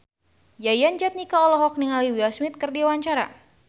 Yayan Jatnika olohok ningali Will Smith keur diwawancara